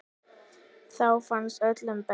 Þá farnast öllum best.